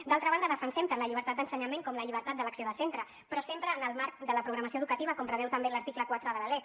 d’altra banda defensem tant la llibertat d’ensenyament com la llibertat d’elecció de centre però sempre en el marc de la programació educativa com preveu també l’article quatre de la lec